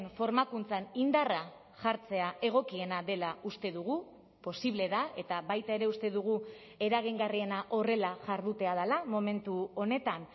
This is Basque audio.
formakuntzan indarra jartzea egokiena dela uste dugu posible da eta baita ere uste dugu eragingarriena horrela jardutea dela momentu honetan